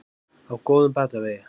Á góðum batavegi